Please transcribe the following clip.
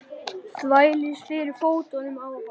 Þvælist fyrir fótunum á honum.